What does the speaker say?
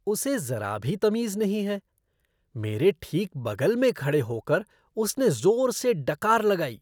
उसे ज़रा भी तमीज़ नहीं है। मेरे ठीक बगल में खड़े होकर उसने जोर से डकार लगाई।